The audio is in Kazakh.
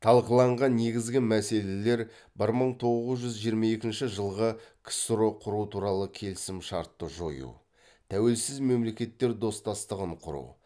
талқыланған негізгі мәселелер бір мың тоғыз жүз жиырма екінші жылғы ксро құру туралы келісім шартты жою тәуелсіз мемлекеттер достастығын құру